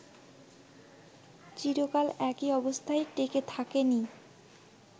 চিরকাল একই অবস্থায় টেকে থাকে নি